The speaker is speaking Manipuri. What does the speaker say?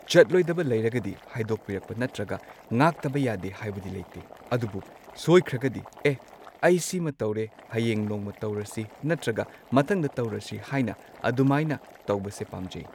ꯆꯠꯂꯣꯏꯗꯕ ꯂꯩꯔꯒꯗꯤ ꯍꯥꯏꯗꯣꯛꯄꯤꯔꯛꯄ ꯅꯠꯇ꯭ꯔꯒ ꯉꯥꯛꯇꯕ ꯌꯥꯗꯦ ꯍꯥꯏꯕꯗꯤ ꯂꯩꯇꯦ꯫ ꯑꯗꯨꯕꯨ ꯁꯣꯏꯈ꯭ꯔꯒꯗꯤ ꯑꯦ ꯑꯩ ꯁꯤꯃ ꯇꯧꯔꯦ ꯍꯌꯦꯡ ꯅꯣꯡꯃ ꯇꯧꯔꯁꯤ ꯅꯠꯇ꯭ꯔꯒ ꯃꯊꯪꯗ ꯇꯧꯔꯁꯤ ꯍꯥꯏꯅ ꯑꯗꯨꯃꯥꯏꯅ ꯇꯧꯕꯁꯦ ꯄꯥꯝꯖꯩ꯫